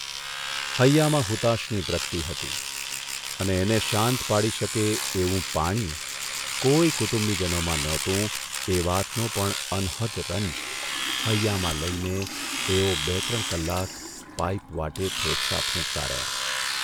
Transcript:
હૈયામાં હુતાશની પ્રકટી હતી અને એને શાંત પાડી શકે એવું' પાણી' કોઇ કુટુંબીજનોમાં નહોતું એ વાતનો પણ અનહદ રંજ હૈયામાં લઇને એઓ બે ત્રણ કલાક પાઇપ વાટે ફેફસાં ફૂંકતા રહ્યા.